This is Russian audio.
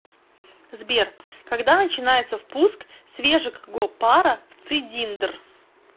сбер когда начинается впуск свежекго пара в цидиндр